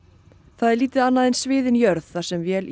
það er lítið annað en sviðin jörð þar sem vél